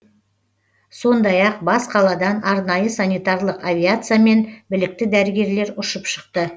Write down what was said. сондай ақ бас қаладан арнайы санитарлық авиациямен білікті дәрігерлер ұшып шықты